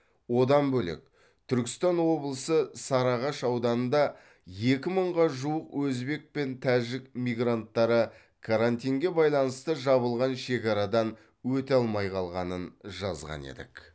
одан бөлек түркістан облысы сарыағаш ауданында екі мыңға жуық өзбек пен тәжік мигранттары карантинге байланысты жабылған шекарадан өте алмай қалғанын жазған едік